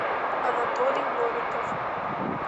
анатолий новиков